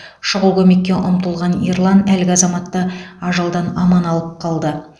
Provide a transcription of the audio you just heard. шұғыл көмекке ұмтылған ерлан әлгі азаматты ажалдан аман алып қалды